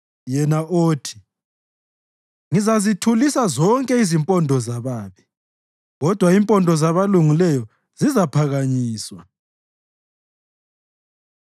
yena othi, “Ngizazithulisa zonke impondo zababi, kodwa impondo zabalungileyo zizaphakanyiswa.”